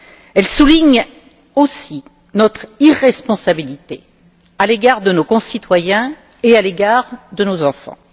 Elle souligne aussi notre irresponsabilité à l'égard de nos concitoyens et de nos enfants.